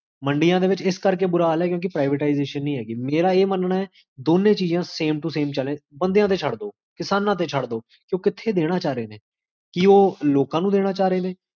ਕ੍ਜ੍ਬਜ੍ਕ